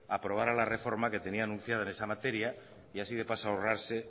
aprobara la reforma que tenía anunciada en esa materia y así de paso ahorrarse